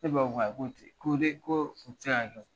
E ba ko k'ayi ko ne ko o ti se ka kɛ